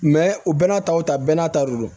u bɛɛ n'a taw ta bɛɛ n'a ta de don